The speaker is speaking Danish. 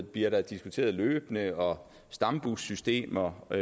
bliver diskuteret løbende og stambussystemer og